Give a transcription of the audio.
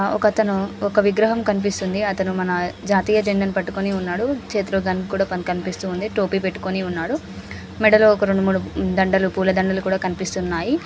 ఒక అతను ఒక విగ్రహం కనిపిస్తుంది అతను మన జాతీయ జెండా ను పాటుకొని ఉన్నాడు చేతిలో గన్ కూడా కనిపిస్తుంది టోపీ పెటుకొని ఉన్నాడ మెడలో ఒక రెండు మూడు దండాలు పులా దండాలు కూడా కనిపిస్తున్నాయి.